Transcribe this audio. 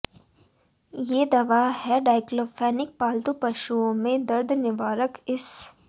ये दवा है डाइक्लोफिनेक पालतू पशुओं में दर्द निवारक इस